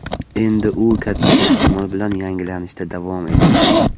Endi u katta ehtimol bilan yangilanishda davom etadi.